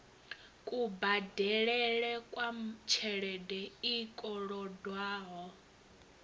kubadelele kwa tshelede i kolodwaho